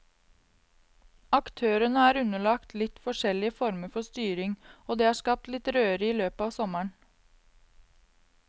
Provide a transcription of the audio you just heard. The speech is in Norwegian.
Aktørene er underlagt litt forskjellige former for styring, og det har skapt litt røre i løpet av sommeren.